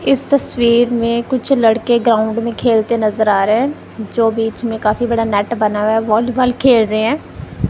इस तस्वीर में कुछ लड़के ग्राउंड में खेलते नजर आ रहे हैं जो बीच में काफी बड़ा नेट बना है व्हॉलीबॉल खेल रहे हैं।